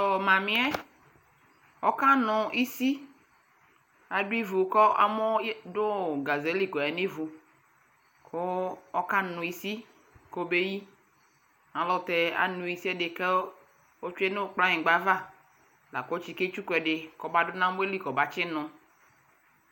Ɔɔmamiɛ ɔkanu isii adu iʋu kamɔɔdu gazeli koyaa nivu ɔkanu isii kobeyii ayɛlutɛ anuu ɛdɛɛ kotwee nu kplanyiigbava lakɔ tsike tsuku ɛɛdɛ kɔduu amɔɛli kɔmatsinu